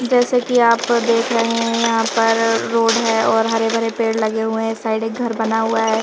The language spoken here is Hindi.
जैसा कि आप देख रहे हैं यहां पर रोड है और हरे भरे पेड़ लगे हुए हैं साइड एक घर बना हुआ है।